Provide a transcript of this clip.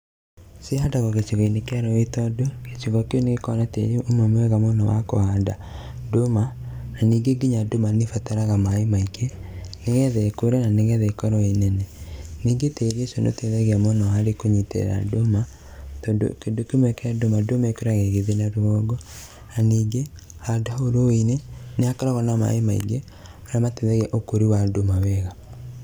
Cihandagwo gĩcigo-inĩ kĩa rũĩ tondũ, gĩcigo kĩu nĩ gĩkoragwo na tĩĩri ũmwe mwega mũno wa kũhanda ndũma, na ningĩ ndũma nĩ ĩbataraga maĩ maingĩ nĩgetha ĩkũre na nĩgetha ĩkorwo ĩnene. Ningĩ tĩri ũcio nĩ ũteithagĩrĩria mũno harĩ kũnyitĩrĩra ndũma tondũ kĩndũ kĩmwe kĩa ndũma, ndũma ĩkũraga ĩgĩthiĩ na rũgongo, na ningĩ handũ hau rũi-inĩ nĩ hakoragwo na maĩ maingĩ marĩa mateithagia ũkũri wa ndũma wega.